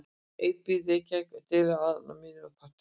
Einar býr í Reykjavík en dvelur alltaf að Mýrum part úr sumri.